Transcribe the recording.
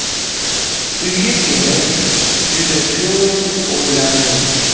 Uyga kelib, juda ko‘p o‘ylandim.